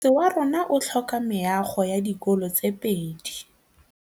Motse warona o tlhoka meago ya dikolô tse pedi.